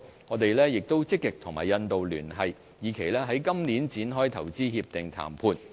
我們亦積極與印度聯繫，以期在今年展開投資協定談判。